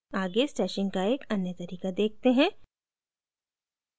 आगे stashing का एक अन्य तरीका देखते हैं